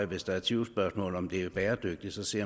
hvis der er tvivlsspørgsmål om det er bæredygtigt at se